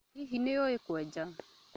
Hihi nĩ ũĩ kwenja?